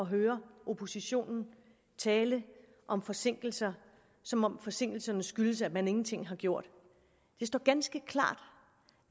høre oppositionen tale om forsinkelser som om forsinkelserne skyldes at man ingenting har gjort det står ganske klart